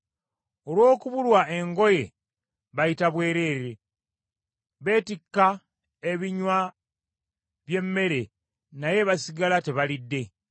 Olw’okubulwa engoye bayita bwereere; betikka ebinywa by’emmere naye basigala tebalidde.